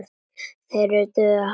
Þeir dugðu mér harla lítið.